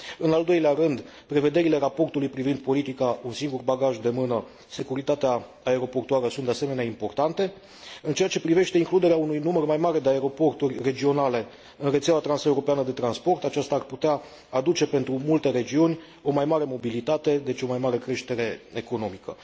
În al doilea rând, prevederile raportului privind politica un singur bagaj de mână și securitatea aeroportuară sunt, de asemenea, importante. În ceea ce privește includerea unui număr mai mare de aeroporturi regionale în rețeaua transeuropeană de transport, aceasta ar putea aduce, pentru multe regiuni, o mai mare mobilitate, deci o mai mare creștere economică.